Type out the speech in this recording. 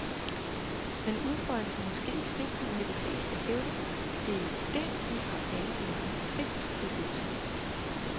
Men udfoldelse må ske i fritiden vil de fleste hævde, det er jo det, vi har alle de mange fritidstilbud til.